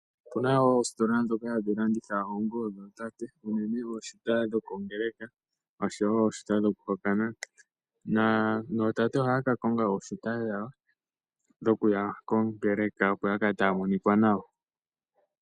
Opuna oositola dhoka hadhi landitha oonguwo dhootate uunene ooshuta dhokongeeleka osho wo ooshuta dhokuhokana nootate ohaya kakonga ooshuta dhawo dhokuya kongeeleka opo yakale taya monika nawa.